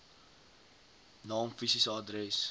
naam fisiese adres